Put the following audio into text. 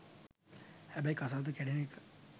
හැබැයි කසාදෙ කැඩෙන එක